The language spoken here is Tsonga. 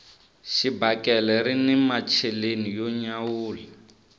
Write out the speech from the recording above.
xibakele rini macheleni yo nyawula